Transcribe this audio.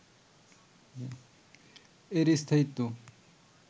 এর স্থায়িত্ব